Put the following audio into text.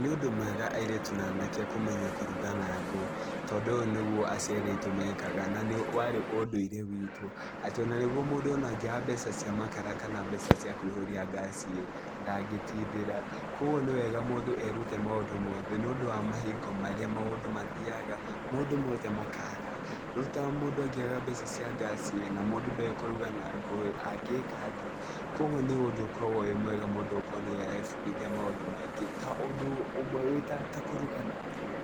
Nĩ ũndũ mwega airĩtu na anake kĩmenya kũruga na ngũ tondũ ũyũ nĩguo aciari aitũ mekaga na nĩ warĩ ũndũire witũ, atĩ ona nĩguo mũndũ ona angĩaga mbeca cia makara kana mbeca cia kũihũria ngaci-ĩ ndangĩtindĩra. Kuoguo nĩ wega mũndũ erute maũndũ mothe nĩũndũ wa mahingo marĩa maũndũ mathiaga maũndũ mothe makaga. Rĩu ta mũndũ angĩaga mbeca cia ngaci-ĩ, na mũndũ ndoĩ kũruga na ngũ-ĩ angĩka atĩa? Kuoguo nĩ ũndũ ũkoragwo wĩ mwega mũndũ gũkorwo nĩarebundithia maũndũ maingĩ ta ũndũ ũmwe wĩ ta kũruga na ngũ,